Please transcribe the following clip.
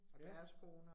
Ja